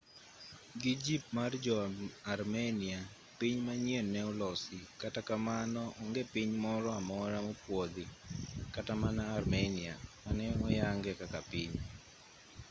gi jip mar jo-armenia piny manyien ne olosi kata kamano onge piny moro amora mopuodhi kata mana armenia mane oyange kaka piny